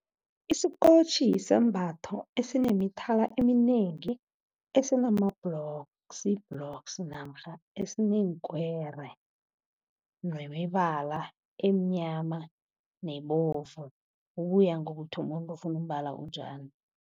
Isikotjhi sisambatho esinemithala eminengi, esinama blocks-blocks namkha esineenkwere nemibala emnyama nebovu. Kuya ngokuthi umuntu ufuna umbala onjani.